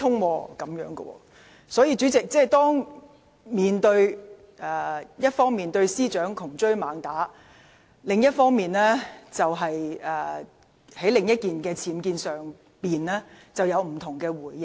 反對派議員一方面對司長窮追猛打，在另一宗僭建事件上卻有不同的回應。